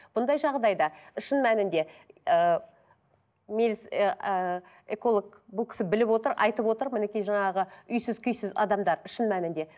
бұндай жағдайда шын мәнінде ыыы ы эколог бұл кісі біліп отыр айтып отыр мінекей жаңағы үйсіз күйсіз адамдар шын мәнінде